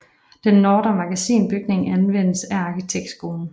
Den Nordre Magasinbygning anvendes af arkitektskolen